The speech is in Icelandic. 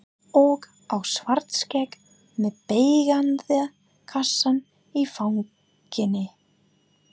Og á Svartskegg með beyglaða kassann í fanginu.